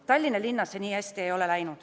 Tallinnas nii hästi läinud ei ole.